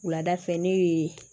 Wuladafɛ ne ye